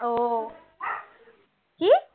ও কী?